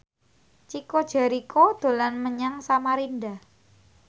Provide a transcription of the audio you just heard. Chico Jericho dolan menyang Samarinda